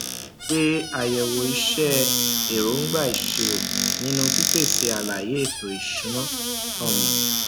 ṣe àyẹwò iṣẹ èróńgbà ìṣirò nínú pípèsè àlàyé éto ìṣúná um